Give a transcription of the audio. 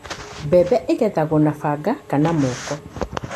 Mbembe igethagwo na banga kana moko.